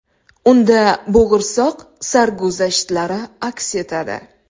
Unda bo‘g‘irsoq sarguzashtlari aks etadi.